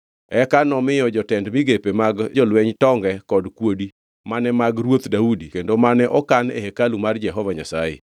Eka nomiyo jotend migepe mag jolweny tonge kod kuodi, mane mag ruoth Daudi kendo mane okan e hekalu mar Jehova Nyasaye.